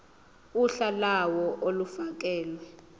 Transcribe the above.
uhla lawo olufakelwe